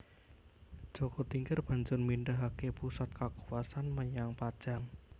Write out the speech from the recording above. Jaka Tingkir banjur mindahaké pusat kakuwasan menyang Pajang